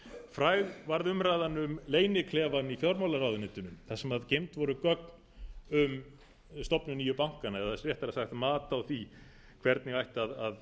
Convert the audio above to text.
fræg varð umræðan um leyniklefann í fjármálaráðuneytinu þar sem geymd voru gögn um stofnun nýju bankanna eða réttara sagt mat á því hvernig ætti og væri eðlilegt að